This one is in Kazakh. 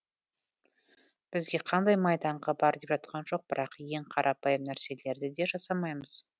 бізге қандай майданға бар деп жатқан жоқ бірақ ең қарапайым нәрселерді де жасамаймыз